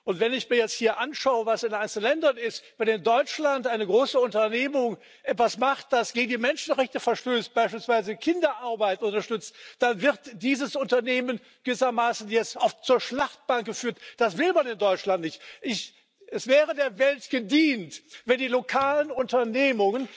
Und wenn ich mir jetzt hier anschaue, was in den einzelnen Ländern ist, wenn in Deutschland ein großes Unternehmen etwas macht, das gegen die Menschenrechte verstößt beispielsweise Kinderarbeit unterstützt dann wird dieses Unternehmen gewissermaßen jetzt oft zur Schlachtbank geführt. Das will man in Deutschland nicht! Es wäre der Welt gedient, wenn die lokalen Unternehmen